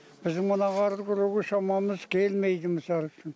біздің мына қарды күреуге шамамыз келмейді мысал үшін